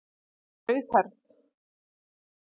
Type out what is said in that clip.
Hún var rauðhærð!